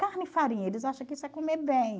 Carne e farinha, eles acham que isso é comer bem.